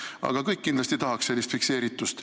Aga kõik kindlasti tahaks sellist fikseeritust.